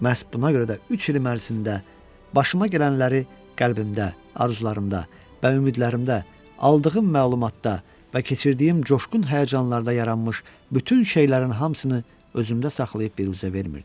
Məhz buna görə də üç il ərzində başıma gələnləri qəlbində, arzularımda və ümidlərimdə, aldığım məlumatda və keçirdiyim coşqun həyəcanlarda yaranmış bütün şeylərin hamısını özümdə saxlayıb biruzə vermirdim.